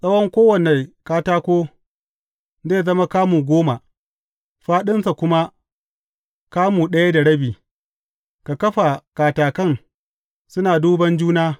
Tsawon kowane katako zai zama kamu goma, fāɗinsa kuma kamu ɗaya da rabi, ka kafa katakan suna duban juna.